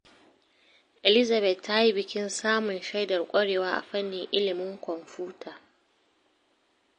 Elizabeth ta yi bikin samun shaidar ƙwarewa a fannin ilimin kwamfuta.